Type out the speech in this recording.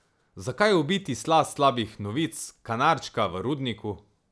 Zakaj ubiti sla slabih novic, kanarčka v rudniku?